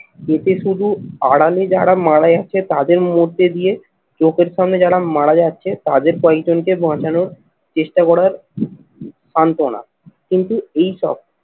পেটে শুধু আড়ালে যারা মারা যাচ্ছে তাদের মধ্যে দিয়ে চোখের সামনে যারা মারা যাচ্ছে তাদের কয়েকজনকে বাঁচানোর চেষ্টা করার সান্তনা কিন্তু এইসব